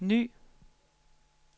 ny